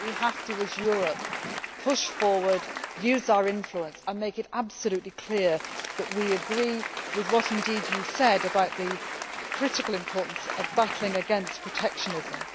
I think we as Europe have to push forward, use our influence and make it absolutely clear that we agree with what you said about the critical importance of battling against protectionism.